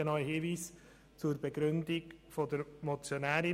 Ich habe noch einen Hinweis zur Begründung der Motionärin.